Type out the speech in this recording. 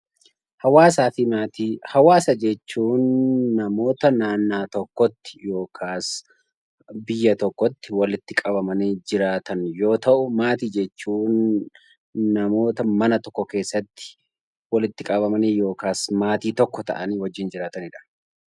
Hawaasa jechuun namoota iddoo tokkotti yookaan biyya tokkotti walitti qabamanii jiraatan yoo ta'u, maatii jechuun namoota mana tokko keessatti walitti qabamanii yookiin maatii tokko ta'anii wajjin jiraatanidha